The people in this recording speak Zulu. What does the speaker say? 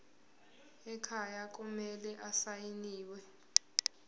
ekhaya kumele asayiniwe